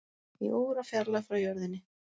Í órafjarlægð frá jörðinni